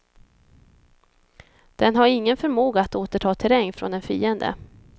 Den har ingen förmåga att återta terräng från en fiende.